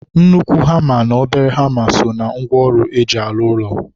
Nnukwu hama na obere hama so na ngwa ọrụ eji alụ ụlọ.